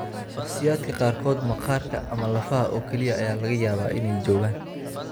Shakhsiyaadka qaarkood, maqaarka ama lafaha oo kaliya ayaa laga yaabaa inay joogaan.